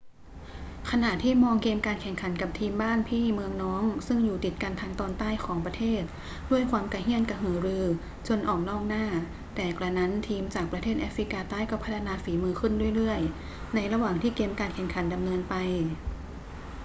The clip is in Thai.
ขณะที่มองเกมการแข่งขันกับทีมบ้านพี่เมืองน้องซึ่งอยู่ติดกันทางตอนใต้ของประเทศด้วยความกระเหี้ยนกระหือรือจนออกนอกหน้า แต่กระนั้นทีมจากประเทศแอฟริกาใต้ก็พัฒนาฝีมือขึ้นเรื่อย ๆ ในระหว่างที่เกมการแข่งขันดำเนินไป